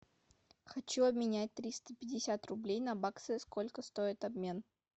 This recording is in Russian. хочу обменять триста пятьдесят рублей на баксы сколько стоит обмен